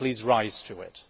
Please rise to it.